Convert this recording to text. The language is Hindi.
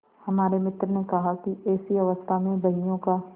हमारे मित्र ने कहा कि ऐसी अवस्था में बहियों का